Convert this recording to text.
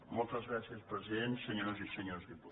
moltes gràcies president senyores i senyors diputats